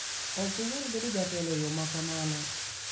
Ok inyal bedo jatelo e yo ma kamano.